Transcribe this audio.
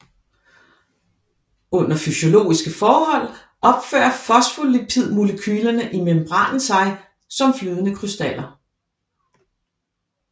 Under fysiologiske forhold opfører fosfolipidmolekylerne i membranen sig som flydende krystaller